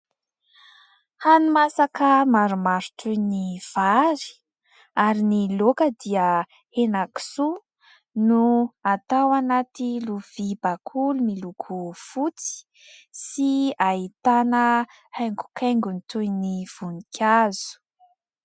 Hani-masaka maromaro toy ny vary ; ary ny laoka dia henakisoa ; no atao anaty lovia bakoly miloko fotsy sy ahitana haingokaingony toy ny voninkazo.